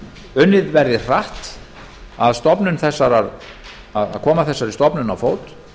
unnið verði hratt að því að koma þessari stofnun á fót